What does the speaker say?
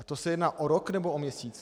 A to se jedná o rok, nebo o měsíc?